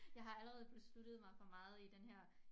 Jeg har allerede besluttet mig for meget i den her